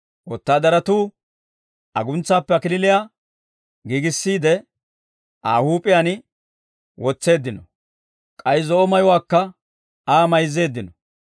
Wotaadaratuu aguntsaappe kalachchaa giigissiide, Aa huup'iyaan wotseeddino; k'ay zo'o mayuwaakka Aa mayzzeeddino.